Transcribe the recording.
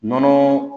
Nɔnɔ